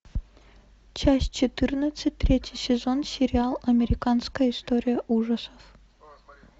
часть четырнадцать третий сезон сериал американская история ужасов